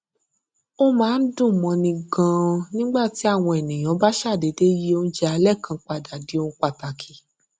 ó máa ń dùn móni ganan nígbà tí àwọn ènìyàn bá ṣàdédé yí oúnjẹ alé kan padà di ohun pàtàkì